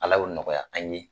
Ala y'o nɔgɔya an ye